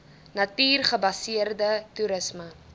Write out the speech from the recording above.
natuur gebaseerde toerisme